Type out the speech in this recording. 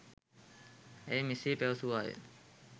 ඇය මෙසේ පැවැසුවාය.